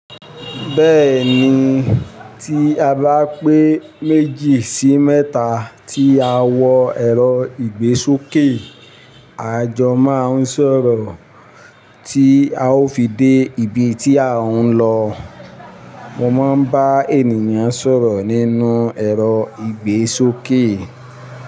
Bẹ́ẹ̀ni, tí a bá pé méjì sí mẹ́ta tí a wọ ẹrọ ìgbésókè àjọ máa ń sọ̀rọ̀ tí a ó fi dé ibi tí a ń lọ. Mo máa ń bá ènìyàn sọ̀rọ̀ nínú ẹrọ ìgbésókè.